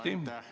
Aitäh!